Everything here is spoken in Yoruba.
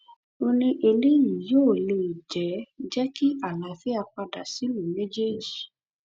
ó ní eléyìí yóò lè jẹ jẹ kí àlàáfíà padà sílùú méjèèjì